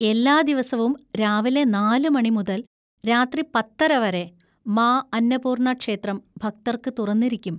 എല്ലാ ദിവസവും രാവിലെ നാല് മണി മുതൽ രാത്രി പത്തര വരെ മാ അന്നപൂർണ ക്ഷേത്രം ഭക്തർക്ക് തുറന്നിരിക്കും.